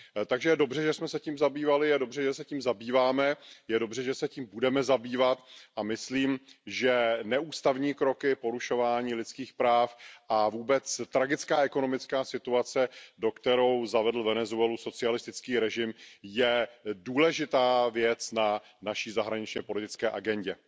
Takže je dobře, že jsme se tím zabývali, a je dobře, že se tím zabýváme, a je dobře, že se tím budeme zabývat, a myslím, že neústavní kroky, porušování lidských práv a vůbec tragická ekonomická situace, do které zavedl Venezuelu socialistický režim, je důležitá věc na naší zahraničně politické agendě.